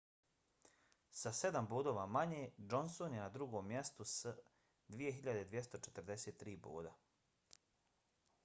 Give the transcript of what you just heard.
sa sedam bodova manje johnson je na drugom mjestu s 2.243 boda